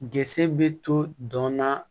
Gse bɛ to dɔn na